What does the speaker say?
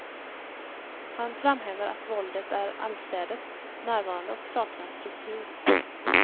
Han framhäver att våldet är allestädes närvarande och saknar struktur.